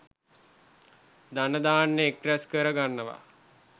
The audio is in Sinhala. ධන ධාන්‍ය එක් රැස් කර ගන්නවා.